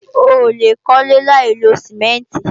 Oòlè kólé láìlo Sìmẹ́ǹtì